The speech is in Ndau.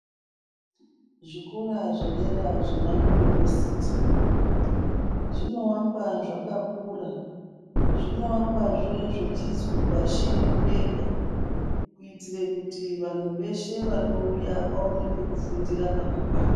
Zvikora zvedera zvemayunivesiti zvinowakwa zvakakura, zvinowakwazve zvichinzi pashi nemudenga kuitire kuti vantu veshe vanouya vaone pekufundira pakakwana